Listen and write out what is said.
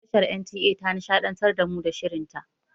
Tashar NTA ta nishaɗantar da mu da shirin ta.